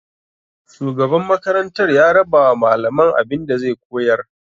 Shugaban makarantar ya rabawa malaman abinda zai koyar.